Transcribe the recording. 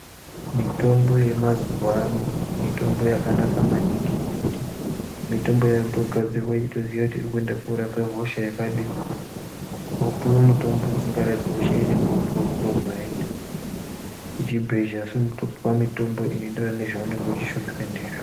Mitombo yemazuwano mitombo yakanaka maningi ngekuti mitombo yakutogadzirwe yechitoziye kuti irikuenda korapahosha yakadini , kopuwe mutombo usingarapi hosha ........ kuchibhedhleya unotopuwa mutombo unoenderana nezvaunenge uchishupika ndizvo.